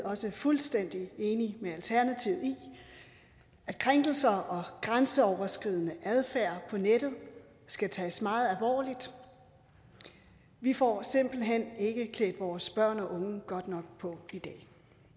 også fuldstændig enige med alternativet i at krænkelser og grænseoverskridende adfærd på nettet skal tages meget alvorligt vi får simpelt hen ikke klædt vores børn og unge godt nok på i dag